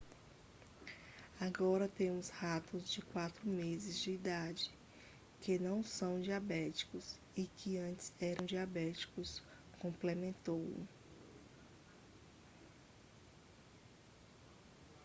"agora temos ratos de 4 meses de idade que não são diabéticos e que antes eram diabéticos,"complementou